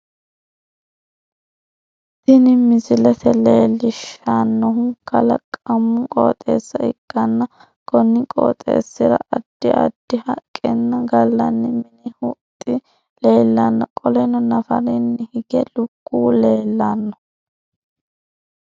Tinni misilete leelishanohu kalaqomna qooxeessa ikkanna konni qooxeesira addi addi haqenna galanni minni huxi leelano qoleno nafaranni hige lukuwu leelano.